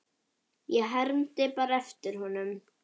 Ég hermdi bara eftir honum